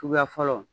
Suguya fɔlɔ